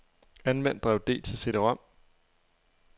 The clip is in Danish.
Anvend drev D til cd-rom.